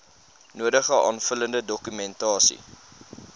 nodige aanvullende dokumentasie